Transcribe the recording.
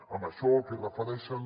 amb això al que es refereixen